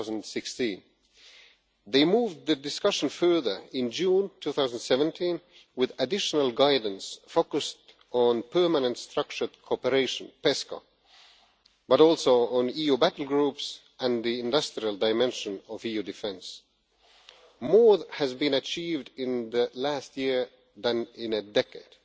2016. They moved the discussion further in June 2017 with additional guidance focused on Permanent Structured Cooperation but also on EU battlegroups and the industrial dimension of EU defence. More has been achieved in the last year than in a decade.